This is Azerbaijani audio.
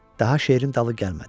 Daha şeirin dalı gəlmədi.